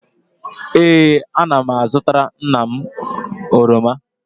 Ee, ana m azụtara nna m oroma